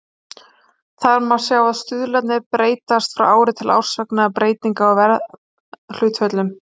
Þar má sjá að stuðlarnir breytast frá ári til árs vegna breytinga á verðhlutföllum.